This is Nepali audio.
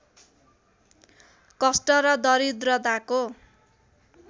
कष्ट र दरिद्रताको